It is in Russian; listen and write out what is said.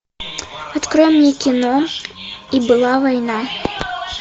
открой мне кино и была война